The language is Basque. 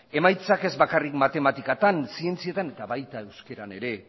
emaitzak ez bakarrik matematikatan zientzietan eta baita euskaran ere